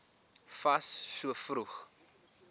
fas so vroeg